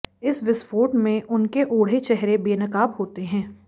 इस विस्फोट में उनके ओढ़े चेहरे बेनकाब होते हैं